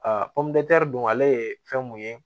Aa pɔmudute don ale ye fɛn mun ye